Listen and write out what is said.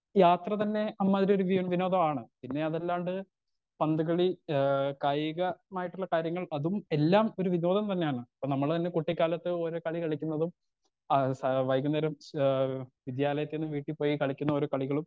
യാത്ര തന്നെ അമ്മാരി ഒരു വിനോദമാണ് പിന്നെ അതല്ലാണ്ട് പന്തുകളി എഹ് കായിക മായിട്ടുള്ള കാര്യങ്ങൾ അതും എല്ലാം ഒരു വിഭോവം തന്നെയാണ് ഇപ്പൊ നമ്മൾ തന്നെ കുട്ടി കാലത്ത് ഓരോ കളി കളിക്കുന്നതും ആ സ വൈകുനേരം ഏഹ് വിദ്യാലയത്തിന്ന് വീട്ടിപോയി കളിക്കുന്ന ഓരോ കളികളും